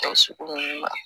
sugu ninnu na